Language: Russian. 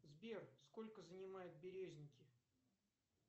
сбер сколько занимают березники